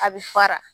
A bɛ fara